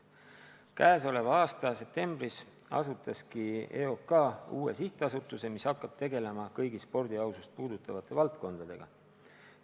Tänavu septembris asutas EOK uue sihtasutuse Eesti Antidopingu ja Spordieetika Sihtasutus, mis hakkab tegelema kõigi spordi ausust puudutavate valdkondadega.